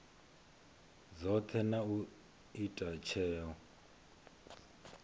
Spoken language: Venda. dzothe na u ita tsheo